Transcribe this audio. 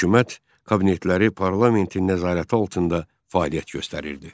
Hökumət kabinetləri parlamentin nəzarəti altında fəaliyyət göstərirdi.